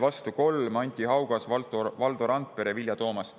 Vastu oli 3: Anti Haugas, Valdo Randpere ja Vilja Toomast.